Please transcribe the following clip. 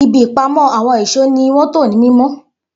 Ibi ìpamọ́ àwọn ìṣó ni wọ́n tò ní mímọ́